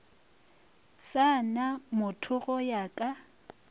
sa na mothogo ya ka